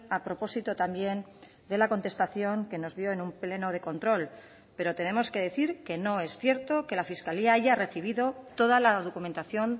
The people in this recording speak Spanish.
a propósito también de la contestación que nos dio en un pleno de control pero tenemos que decir que no es cierto que la fiscalía haya recibido toda la documentación